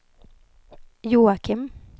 Joakim